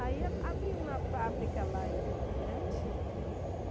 Aí a abri uma fábrica lá em Campo Grande.